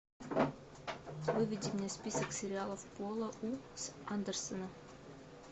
выведи мне список сериалов пола у с андерсона